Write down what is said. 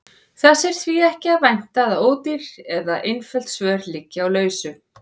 Þess er því ekki að vænta að ódýr eða einföld svör liggi á lausu.